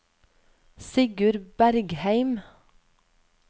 Sigurd Bergheim